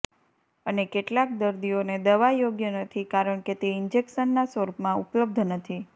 અને કેટલાક દર્દીઓને દવા યોગ્ય નથી કારણ કે તે ઇન્જેક્શનના સ્વરૂપમાં ઉપલબ્ધ નથી